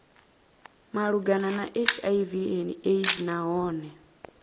malugana na hiv aids nahone